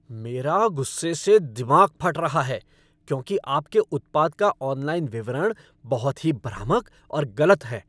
मेरा गुस्से से दिमाग फट रहा है क्योंकि आपके उत्पाद का ऑनलाइन विवरण बहुत ही भ्रामक और गलत है।